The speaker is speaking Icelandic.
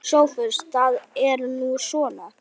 SOPHUS: Það er nú svona.